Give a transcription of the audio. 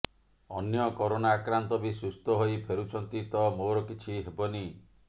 ଅନ୍ୟ କରୋନା ଆକ୍ରାନ୍ତ ବି ସୁସ୍ଥ ହୋଇ ଫେରୁଛନ୍ତି ତ ମୋର କିଛି ହେବନି